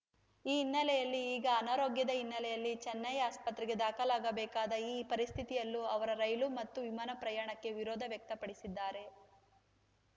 ಈ ಹಿನ್ನೆಲೆಯಲ್ಲಿ ಈಗ ಅನಾರೋಗ್ಯದ ಹಿನ್ನೆಲೆಯಲ್ಲಿ ಚೆನ್ನೈ ಆಸ್ಪತ್ರೆಗೆ ದಾಖಲಾಗಬೇಕಾದ ಈ ಪರಿಸ್ಥಿತಿಯಲ್ಲೂ ಅವರು ರೈಲು ಮತ್ತು ವಿಮಾನ ಪ್ರಯಾಣಕ್ಕೆ ವಿರೋಧ ವ್ಯಕ್ತಪಡಿಸಿದ್ದಾರೆ